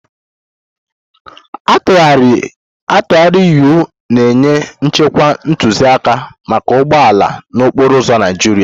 atụgharị-U na-enye nchekwa ntụzịaka maka ụgbọ ala n'okporo ụzọ Naịjirịa.